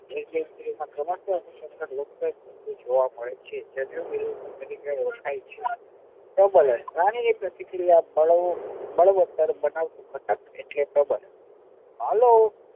પ્રબલન એટલે પ્રાણી ની પ્રતિક્રિયા બળવો બળવતર બનાવતી ખાટક એટલે પ્રબલન હાલો